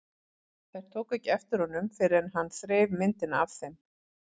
Þær tóku ekki eftir honum fyrr en hann þreif myndina af þeim.